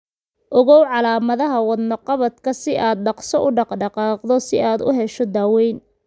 Ogow calaamadaha wadno-qabadka si aad dhaqso u dhaq-dhaqaaqdo si aad u hesho daaweyn.